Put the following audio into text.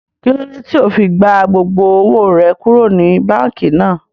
Kílódé tí ó fi gba gbogbo owó rẹ kúrò ní báànkì náà?